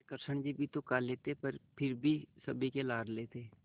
कृष्ण जी भी तो काले थे पर फिर भी सभी के लाडले थे